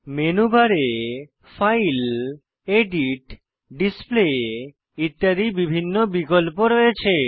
menu বারে file edit display ইত্যাদি বিভিন্ন বিকল্প রয়েছে